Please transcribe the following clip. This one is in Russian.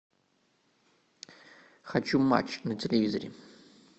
хочу матч на телевизоре